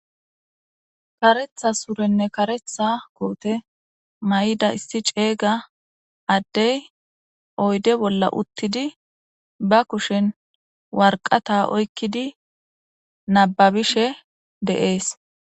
Kareththa surenne kareththa koothe mayida issi ceega addee oyde bolla uththidi ba kushen warqqathaa oykkidi nabbabishe de7ees.